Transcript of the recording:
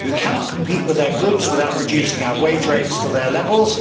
We cannot compete with their goods without reducing our wage rates to their levels.